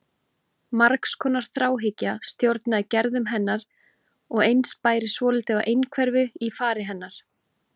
Margs konar þráhyggja stjórnaði gerðum hennar og eins bæri svolítið á einhverfu í fari hennar.